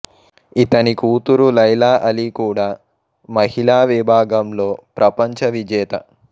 ఇతని కూతురు Laila Ali కూడా మహిళా విభాగంలో ప్రపంచ విజేత